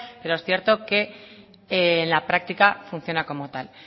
pero es cierto que en la práctica funciona como tal